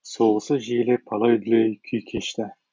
соғысы жиілеп алай дүлей күй кешті